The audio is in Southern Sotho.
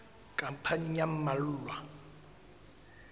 khampani ya ba mmalwa e